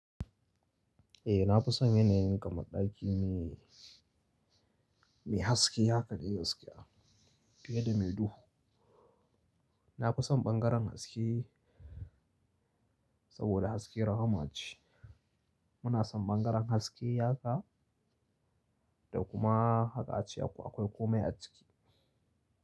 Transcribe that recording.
Eh na fi son yanayin kamar ɗaki mai, mai haske haka dai gaskiya, fiye da me duhu. Na fi son ɓangaren haske saboda haske rahama ce. Muna son ɓangaren haske haka da kuma haka ace akwai kome a ciki.